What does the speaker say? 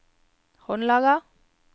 håndlaget